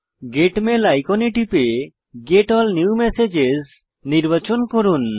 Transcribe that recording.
gate mail আইকনে টিপে get all new messages নির্বাচন করুন